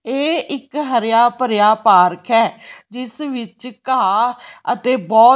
ਇਹ ਇੱਕ ਹਰਿਆ ਭਰਿਆ ਪਾਰਕ ਹੈ ਜਿਸ ਵਿੱਚ ਘਾਹ ਅਤੇ--